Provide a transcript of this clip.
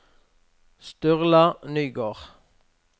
Sturla Nygård